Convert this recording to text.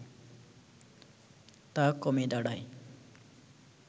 তা কমে দাঁড়ায়